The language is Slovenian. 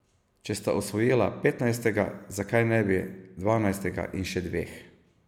Če sta osvojila petnajstega, zakaj ne bi dvanajstega in še dveh?